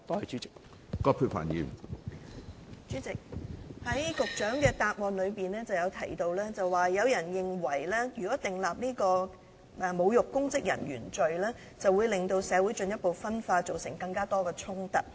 主席，局長在主體答覆中提到，有人認為如果訂立"侮辱執法的公職人員罪"，會令社會進一步分化，造成更多衝突。